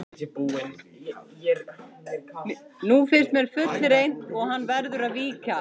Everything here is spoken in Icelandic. Nú finnst mér fullreynt og hann verður að víkja.